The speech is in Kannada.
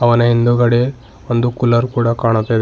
ಅವನ ಹಿಂದುಗಡೆ ಒಂದು ಕೂಲರ್ ಕೂಡ ಕಾಣಿಸ್ತಾ ಇದೆ.